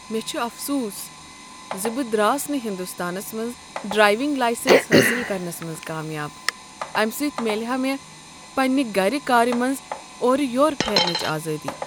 مےٚ چھ افسوس ز بہٕ دراس نہٕ ہندوستانس منٛز ڈرایونگ لایسنس حٲصل کرنس منز کامیاب۔ امہ سۭتۍ میلہ ہا مےٚ پننہ گرٕ کارِ منز اورم یور پھیرنچ آزادی۔